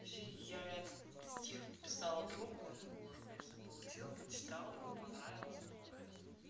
вообще я этот стих написала другу он его уже конечно получил прочитал ему понравилась но этот